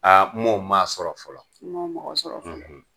Aa m'o maa sɔrɔ fɔlɔ , i m'o mɔgɔ sɔrɔ fɔlɔ.